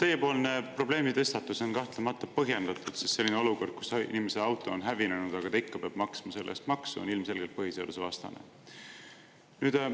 Teiepoolne probleemitõstatus on kahtlemata põhjendatud, sest selline olukord, kus inimese auto on hävinenud, aga ta ikka peab maksma selle eest maksu, on ilmselgelt põhiseadusvastane.